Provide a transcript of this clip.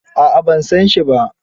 A'a ban san shi ba.